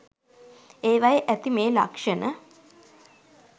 ඒවයේ ඇති මේ ලක්ෂණ